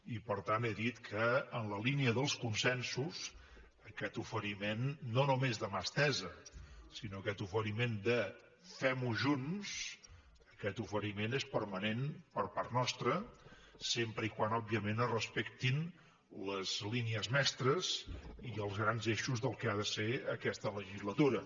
i per tant he dit que en la línia dels consensos aquest oferiment no només de mà estesa sinó aquest oferiment de fem ho junts aquest oferiment és permanent per part nostra sempre que òbviament es respectin les línies mestres i els grans eixos del que ha de ser aquesta legislatura